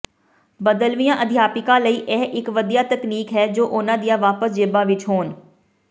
ਬਦਲਵੀਆਂ ਅਧਿਆਪਕਾਂ ਲਈ ਇਹ ਇੱਕ ਵਧੀਆ ਤਕਨੀਕ ਹੈ ਜੋ ਉਨ੍ਹਾਂ ਦੀਆਂ ਵਾਪਸ ਜੇਬਾਂ ਵਿੱਚ ਹੋਣ